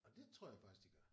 Og det tror jeg faktisk de gør